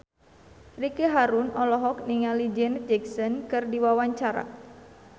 Ricky Harun olohok ningali Janet Jackson keur diwawancara